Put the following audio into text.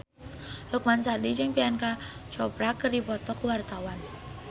Lukman Sardi jeung Priyanka Chopra keur dipoto ku wartawan